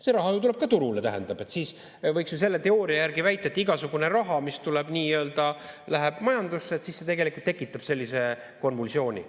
See raha ju tuleb ka turule, tähendab, siis võiks ju selle teooria järgi väita, et igasugune raha, mis läheb majandusse, tegelikult tekitab sellise konvulsiooni.